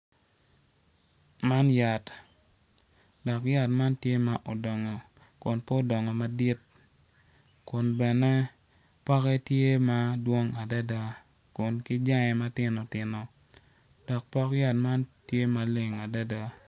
Man yat dok yat tye odongo man obuto piny kun puc man kala kome tye macol nicuc kun opero ite tye ka winyo jami. Puc man bene tye ka neno dok pok yat man tye maleng.